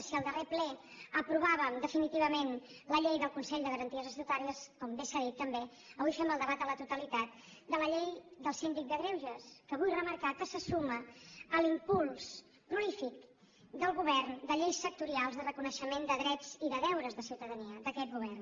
si al darrer ple aprovàvem definitivament la llei del consell de garanties estatutàries com bé s’ha dit també avui fem el debat a la totalitat de la llei del síndic de greuges que vull remarcar que se suma a l’impuls prolífic del govern de lleis sectorials de reconeixement de drets i de deures de ciutadania d’aquest govern